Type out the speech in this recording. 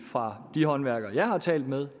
fra de håndværkere jeg har talt med